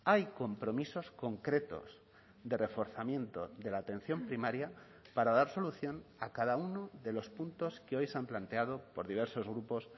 hay compromisos concretos de reforzamiento de la atención primaria para dar solución a cada uno de los puntos que hoy se han planteado por diversos grupos